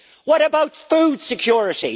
What about food security?